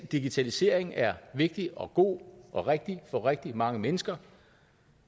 digitaliseringen er vigtig og god og rigtig for rigtig mange mennesker